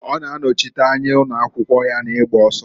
Ọ na-anọchịta anya ụnọakwụkwụ ya na-igba ọsọ.